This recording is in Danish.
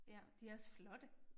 Ja de også flotte